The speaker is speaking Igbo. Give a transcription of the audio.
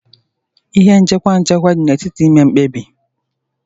Ihe nchịkwa nchịkwa dị n'etiti ime mkpebi.